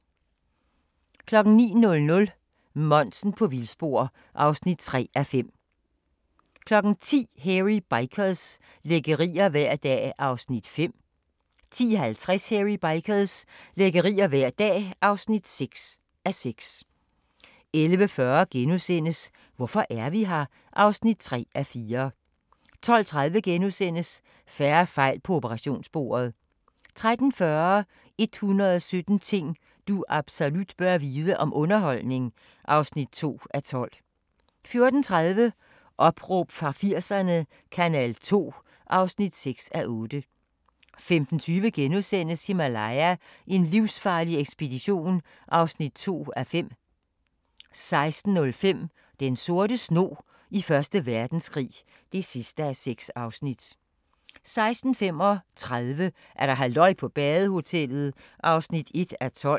09:00: Monsen på vildspor (3:5) 10:00: Hairy Bikers – lækkerier hver dag (5:6) 10:50: Hairy Bikers – lækkerier hver dag (6:6) 11:40: Hvorfor er vi her? (3:4)* 12:30: Færre fejl på operationsbordet * 13:40: 117 ting du absolut bør vide – om underholdning (2:12) 14:30: Opråb fra 80'erne - kanal 2 (6:8) 15:20: Himalaya: en livsfarlig ekspedition (2:5)* 16:05: Den sorte snog i 1. Verdenskrig (6:6) 16:35: Halløj på badehotellet (1:12)